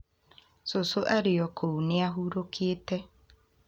cucu arĩ o kũu nĩ ahurũkĩte